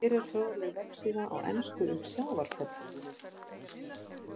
Hér er fróðleg vefsíða á ensku um sjávarföll.